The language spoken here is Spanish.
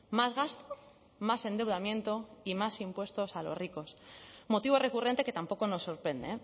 más gasto más endeudamiento y más impuestos a los ricos motivo recurrente que tampoco nos sorprende